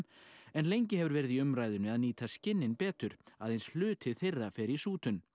en lengi hefur verið í umræðunni að nýta skinnin betur aðeins hluti þeirra fer í sútun